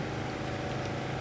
Dəmir yox, dəmir yox.